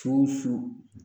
Tusu